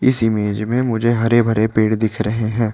इस इमेज में मुझे हरे भरे पेड़ दिख रहे हैं।